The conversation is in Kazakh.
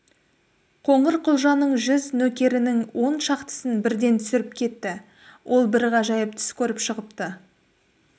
қоңырқұлжаның жүз нөкерінің он шақтысын бірден түсіріп кетті ол бір ғажайып түс көріп шығыпты